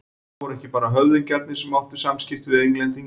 En það voru ekki bara höfðingjarnir sem áttu samskipti við Englendinga.